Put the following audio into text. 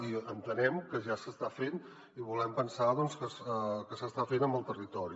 i entenem que ja s’està fent i volem pensar que s’està fent amb el territori